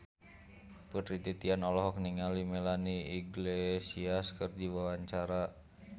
Putri Titian olohok ningali Melanie Iglesias keur diwawancara